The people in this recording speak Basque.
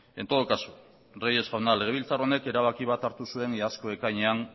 en todo caso reyes jauna legebiltzar honek erabaki bat hartu zuen iazko ekainean